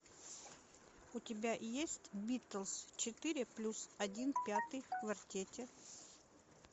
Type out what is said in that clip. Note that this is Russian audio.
у тебя есть битлз четыре плюс один пятый в квартете